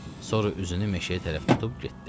Sonra üzünü meşəyə tərəf tutub getdi.